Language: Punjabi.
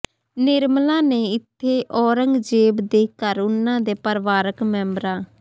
ਨਿਰਮਲਾ ਨੇ ਇੱਥੇ ਔਰੰਗਜੇਬ ਦੇ ਘਰ ਉਨ੍ਹਾਂ ਦੇ ਪਰਿਵਾਰਕ ਮੈਂਬਰਾਂ